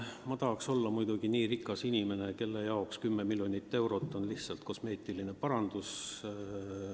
Ma tahaksin väga olla nii rikas inimene, kelle jaoks 10 miljonit eurot on lihtsalt kosmeetiline parandus.